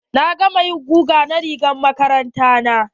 Na gama yin guga na rigar makaranta na.